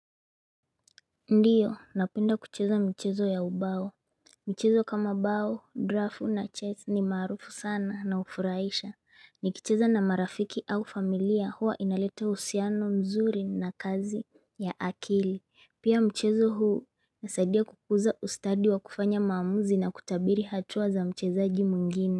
Ndiyo, napenda kucheza mchezo ya ubao Mchezo kama bao, draft na chess ni marufu sana na hufuraisha nikicheza na marafiki au familia huwa inalete usiano mzuri na kazi ya akili Pia mchezo huu nasaidia kukuza ustadi wa kufanya maamuzi na kutabiri hatua za mchezaji mwingine.